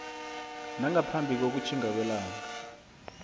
nangaphambi kokutjhinga kwelanga